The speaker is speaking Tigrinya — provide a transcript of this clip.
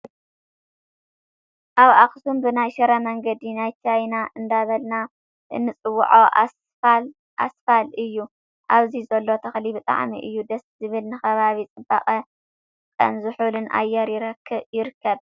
ኣብ ኣክሱም ብናይ ሽረ መንገዲ ናይ ቻይና እንዳበልና እንፅዎዖ ኣስፋል እዩ። ኣብዚ ዘሎ ተክሊ ብጣዕሚ እዩ ደስ ዝብል ንከባቢ ፅባቀን ዙሑል ኣየር ይርከብ።